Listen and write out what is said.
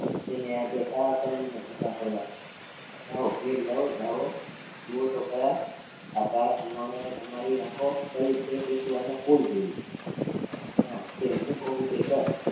તેને હાથે કાળાકર્મી ધંધા કરવા જાઓ ઘેર જાઓ જાઓ જુયો તો ખરા આ કાળા ધુમાડાએ તમારી આંખો કરી છે કે શું આના ફૂલ જેવી તે હું કવ એવું તું કર